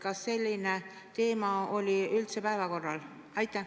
Kas selline teema oli päevakorral?